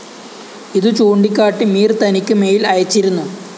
ഇതു ചൂണ്ടിക്കാട്ടി മീര്‍ തനിക്ക് മെയിൽ അയച്ചിരുന്നു